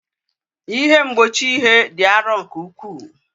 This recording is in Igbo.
Ihe mgbochi ihe dị arọ nke ukwuu.